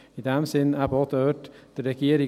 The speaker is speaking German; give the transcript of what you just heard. In diesem Sinne folgen wir auch hier der Regierung.